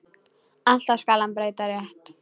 Alltaf skal hann breyta rétt.